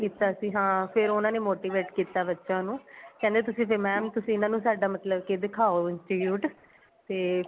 ਕੀਤਾ ਸੀ ਹਾਂ ਫੇਰ ਉਹਨਾ ਨੇ motivate ਕੀਤਾ ਬੱਚਿਆਂ ਨੂੰ ਕਹਿੰਦੇ ਤੁਸੀਂ ਤੇ mam ਤੁਸੀਂ ਇਹਨਾ ਨੂੰ ਮਤਲਬ ਕੀ ਦਿਖਾਉ institute ਤੇ